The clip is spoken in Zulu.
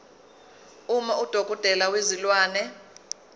uma udokotela wezilwane